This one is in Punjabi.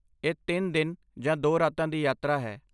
ਇਹ ਤਿੰਨ ਦਿਨ ਜਾਂ ਦੋ ਰਾਤਾਂ ਦੀ ਯਾਤਰਾ ਹੈ